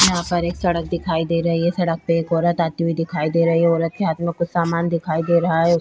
यहाँ पर एक सड़क दिखाई दे रही है । सड़क पे एक औरत आती हुई दिखाई दे रही है । औरत के हाथ में कुछ समान दिखाई दे रहा है ।